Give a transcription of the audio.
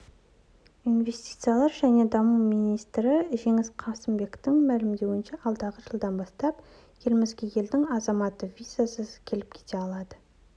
инвестициялар және даму министрі жеңіс қасымбектің мәлімдеуінше алдағы жылдан бастап елімізге елдің азаматы визасыз келіп-кете алады